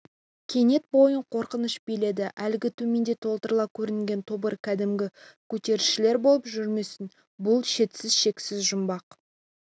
кенет бойын қорқыныш биледі әлгі төменде топырлап көрінген тобыр кәдімгі көтерілісшілер болып жүрмесін бұл шетсіз-шексіз жұмбақ